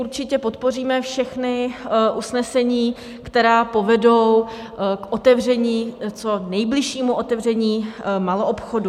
Určitě podpoříme všechna usnesení, která povedou k otevření, co nejbližšímu otevření maloobchodu.